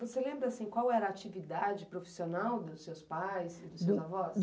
Você lembra, assim, qual era a atividade profissional dos seus pais e dos seus avós?